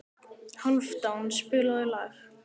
Hálfdán, spilaðu lag.